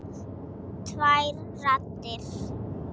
Tvær raddir.